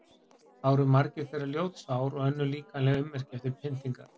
Báru margir þeirra ljót sár og önnur líkamleg ummerki eftir pyndingar.